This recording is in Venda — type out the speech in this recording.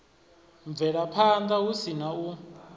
bvelaphanda hu si na u